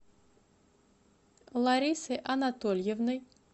ларисой анатольевной